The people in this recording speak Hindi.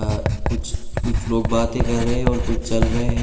कुछ कुछ लोग बातें कर रहे हैं और कुछ चल रहे हैं।